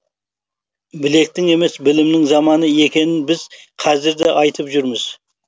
білектің емес білімнің заманы екенін біз қазір де айтып жүрміз